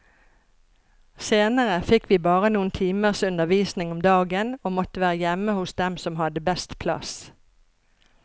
Senere fikk vi bare noen timers undervisning om dagen og måtte være hjemme hos dem som hadde best plass.